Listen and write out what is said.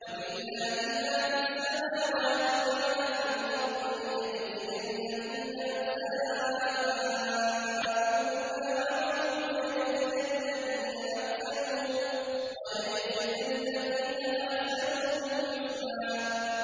وَلِلَّهِ مَا فِي السَّمَاوَاتِ وَمَا فِي الْأَرْضِ لِيَجْزِيَ الَّذِينَ أَسَاءُوا بِمَا عَمِلُوا وَيَجْزِيَ الَّذِينَ أَحْسَنُوا بِالْحُسْنَى